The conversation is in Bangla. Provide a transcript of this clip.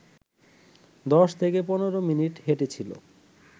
দশ থেকে পনেরো মিনিট হেঁটেছিল